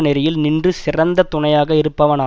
நெறியில் நின்ற சிறந்த துணையாக இருப்பவனா